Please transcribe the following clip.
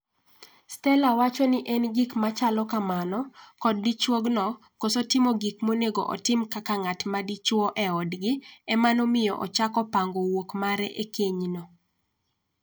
Stella wacho ni en gik ma chalo kamano ,kod dichuogno koso timo gik monego otim kaka ng'at ma dichuo e odgi,e mano miyo ochako pango wuok mare e kenyno.